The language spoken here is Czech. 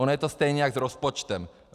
Ono je to stejně jako s rozpočtem.